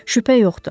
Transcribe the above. Şübhə yoxdu.